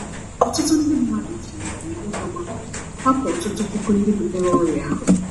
Ọtụtụ mmadụ ji ji ụjọ gbapụ — hapụ ọtụtụ puku ndị butere ọrịa ahụ.